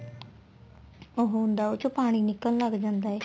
ਉਹ ਹੁੰਦਾ ਉਸ ਚ ਪਾਣੀ ਨਿਕਲਣ ਲੱਗ ਜਾਂਦਾ ਏ